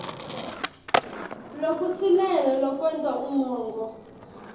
lokusilele lokwenta umongo